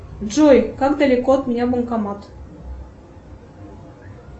джой как далеко от меня банкомат